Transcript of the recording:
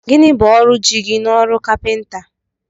Gịnị bụ ọrụ jigi n'ọrụ kapinta?